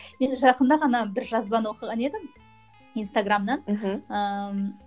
мен жақында ғана бір жазбаны оқыған едім инстаграмнан мхм ыыы